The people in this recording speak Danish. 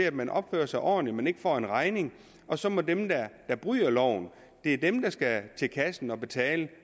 at man opfører sig ordentligt og en regning og så må de der bryder loven til kassen og betale